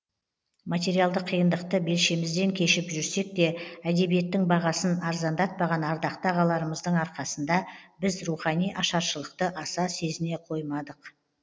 материалдық қиындықты белшемізден кешіп жүрсек те әдебиеттің бағасын арзандатпаған ардақты ағаларымыздың арқасында біз рухани ашаршылықты аса сезіне қоймадық